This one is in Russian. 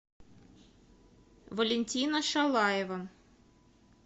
валентина шалаева